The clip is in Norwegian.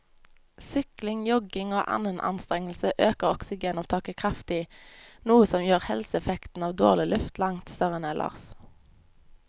Sykling, jogging og annen anstrengelse øker oksygenopptaket kraftig, noe som gjør helseeffekten av dårlig luft langt større enn ellers.